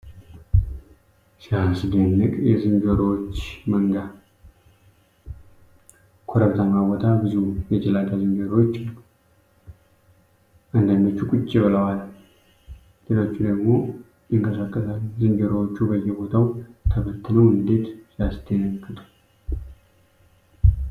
ሲያስደንቅ! የዝንጀሮዎች መንጋ! በረሃማ በሆነ ኮረብታማ ቦታ ብዙ የጭላዳ ዝንጀሮዎች አሉ! አንዳንዶቹ ቁጭ ብለዋል ሌሎቹ ደግሞ ይንቀሳቀሳሉ። ዝንጀሮዎቹ በየቦታው ተበትነው እንዴት ሲያስደነግጡ!